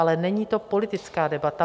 Ale není to politická debata.